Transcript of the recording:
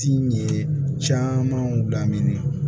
Tin ye camanw lamɛn